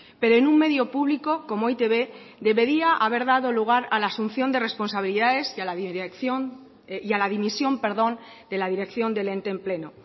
pero en un medio público como e i te be debería haber dado lugar a la asunción de responsabilidades y a la dirección y a la dimisión perdón de la dirección del ente en pleno